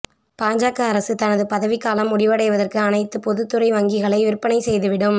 பாஜக அரசு தனது பதவிக்காலம் முடிவடைவதற்கு அனைத்து பொதுத்துறை வங்கிகளை விற்பனை செய்துவிடும்